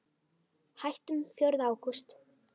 Hættum fjórða ágúst.